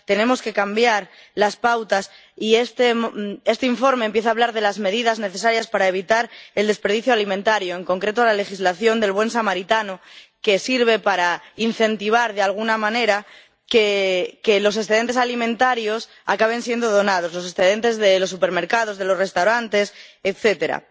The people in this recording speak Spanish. Tenemos que cambiar las pautas y este informe empieza a hablar de las medidas necesarias para evitar el desperdicio alimentario, en concreto la legislación del buen samaritano que sirve para incentivar, de alguna manera, que los excedentes alimentarios acaben siendo donados —los excedentes de los supermercados, de los restaurantes, etcétera—.